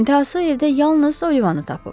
İntahası evdə yalnız Olivanı tapıb.